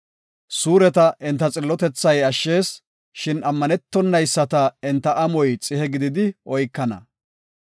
Suureta enta xillotethay ashshees; shin ammanetonayisata enta amoy xihe gididi oykana.